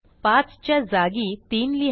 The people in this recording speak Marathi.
5 च्या जागी 3 लिहा